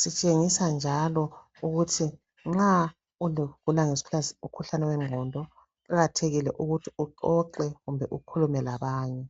Sitshengisa njalo ukuthi nxa ugula umkhuhlane wengqondo kuqakethile ukuthi uxoxe kumbe ukhulume labanye.